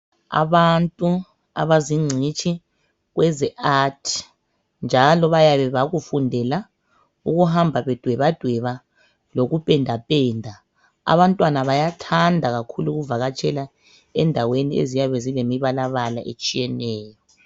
Abantu abazingcitshi kweze art njalo bayabe bakufundela ukuhamba bedwebadweba lokupendapenda. Abantwana bayathanda kakhulu ukuvakatshela endaweni eziyabe zilemibalabala etshiyeneyo.